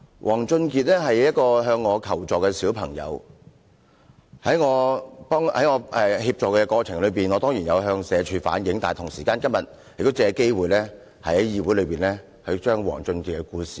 王俊傑是一個向我求助的小朋友，在我協助他的過程中，我當然有向社會福利署反映，但我同時也想藉今天這個機會，在議會說出王俊傑的故事。